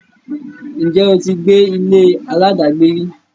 ǹjẹ́ o ti gbé ilé aláàdágbé rí?